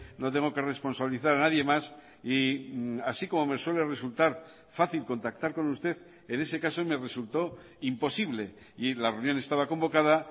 no tengo que responsabilizar a nadie más y así como me suele resultar fácil contactar con usted en ese caso me resultó imposible y la reunión estaba convocada